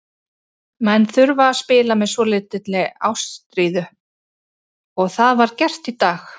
Menn þurfa að spila með svolítilli ástríðu og það var gert í dag.